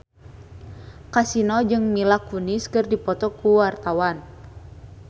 Kasino jeung Mila Kunis keur dipoto ku wartawan